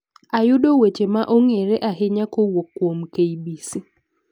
Ayudo weche ma ong'ere ahinya kowuok kuom kbc